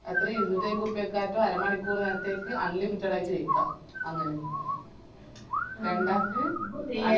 എത്രെ ഇരുന്നൂറ്റയ്ബുറുപ്പ്യക്കറ്റം അരമണിക്കൂറ്‍ നേരത്തേക്ക് unlimitted ആയിറ്റ്‌ കൈക്ക അങ്ങനെ രണ്ടക്ക്